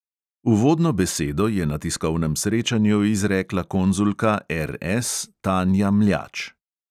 Uvodno besedo je na tiskovnem srečanju izrekla konzulka RS tanja mljač.